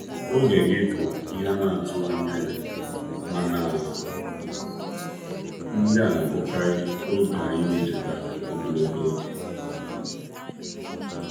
Oge gị bụ ihe a na-atụghị anya ya, mana ndị a na-abụkarị oge anyị na-echeta ogologo oge.